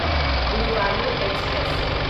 Guruvayur express